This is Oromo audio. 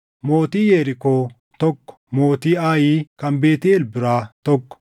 Mootii Yerikoo, tokko mootii Aayi kan Beetʼeel biraa, tokko